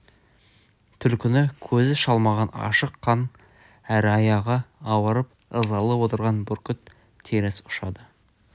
түлкіні көзі шалмаған ашық қан әрі аяғы ауырып ызалы отырған бүркіт теріс ұшады